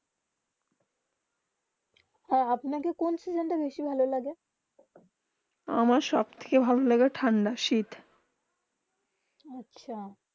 হেঁ আপনা কে কোন সিজন তা বেশি ভালো লাগে আম সব থেকে ভালো লাগে ঠান্ডা শীত আচ্ছা